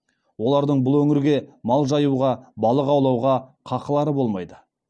олардың бұл өңірлерге мал жаюға балық аулауға қақылары болмайды